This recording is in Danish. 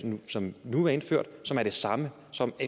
som nu er indført og som er det samme som